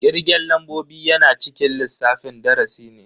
Kirgen lambobi yana cikin lissafin darasi ne.